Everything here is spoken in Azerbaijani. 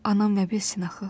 Anam nə bilsin axı.